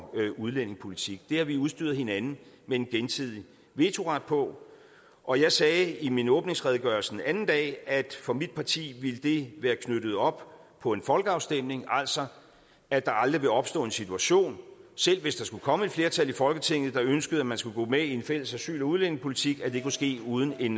udlændingepolitik det har vi udstyret hinanden med en gensidig vetoret på og jeg sagde i min åbningsredegørelse den anden dag at for mit parti ville det være knyttet op på en folkeafstemning altså at der aldrig vil opstå en situation selv hvis der skulle komme et flertal i folketinget der ønskede at man skulle gå med i en fælles asyl og udlændingepolitik hvor det kunne ske uden en